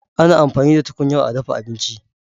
Ana amfani da tukunyar a dafa abinci.